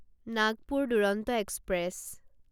Nagpur Duronto express